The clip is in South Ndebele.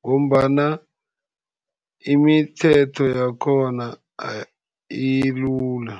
ngombana imithetho yakhona ilula.